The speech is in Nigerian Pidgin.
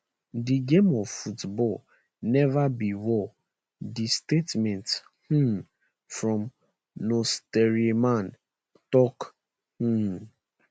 di game of football neva be war di statement um from nsoatreman tok um